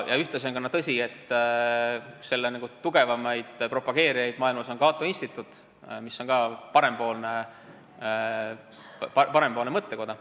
Ja on ka tõsi, et üks selle kõige tugevamaid propageerijaid maailmas on Cato Instituut, mis on ka parempoolne mõttekoda.